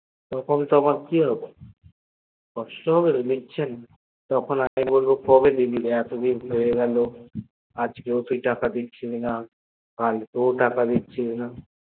তখন আমার কি হবে কষ্ট হবে তো দিচ্ছেনা তখন আমি বলব কবে দিবি দে এতদিন হয়েগেল আজকে ও তুই টাকা দিচ্ছিস না কালকে ও তুই টাকা দিচ্ছিস না।